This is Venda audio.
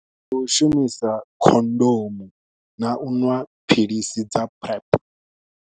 Ndi u shumisa khondomu na u ṅwa philisi dza PrEP.